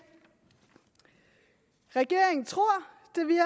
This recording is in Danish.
regeringen tror